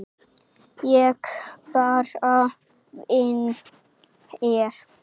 Ég bara vinn hér.